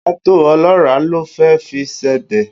Ṣé tòmátò ọlọ́ràá lo fẹ́ fi sebẹ̀?